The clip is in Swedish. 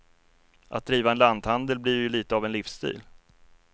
Att driva en lanthandel blir ju lite av en livsstil.